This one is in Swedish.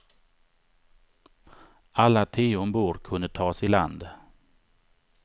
Alla tio ombord kunde tas i land.